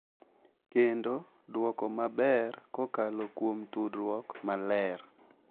Kendo duoko maber kokalo kuom tudruok maler,